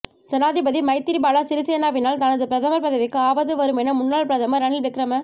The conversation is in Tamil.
ஜனாதிபதி மைத்திரிபால சிறிசேனவினால் தனது பிரதமர் பதவிக்கு ஆபத்து வருமென முன்னாள் பிரதமர் ரணில் விக்ரம